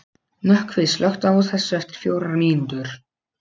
Nökkvi, slökktu á þessu eftir fjórar mínútur.